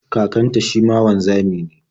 Kakanta shi ma wanzami ne.